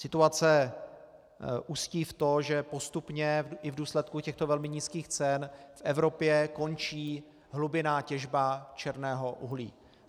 Situace ústí v to, že postupně i v důsledku těchto velmi nízkých cen v Evropě končí hlubinná těžba černého uhlí.